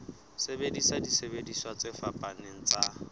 sebedisa disebediswa tse fapaneng tsa